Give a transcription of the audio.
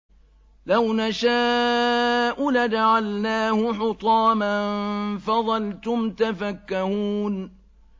لَوْ نَشَاءُ لَجَعَلْنَاهُ حُطَامًا فَظَلْتُمْ تَفَكَّهُونَ